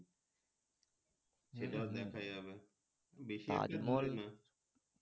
সেটাও দেখা যাবে